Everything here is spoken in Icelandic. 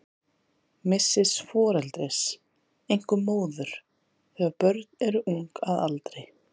Missis foreldris, einkum móður, þegar börn eru ung að aldri.